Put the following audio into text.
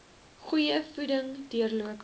goeie voeding deurlopend